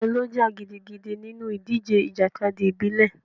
Ta ló jà gidigidi nínú ìdíje ìjàkadì ìbílẹ̀?